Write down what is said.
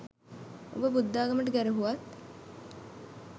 උඹ බුද්ධාගමට ගැරහුවත්